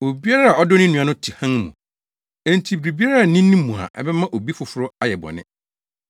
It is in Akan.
Obiara a ɔdɔ ne nua no te hann mu, enti biribiara nni ne mu a ɛbɛma obi foforo ayɛ bɔne.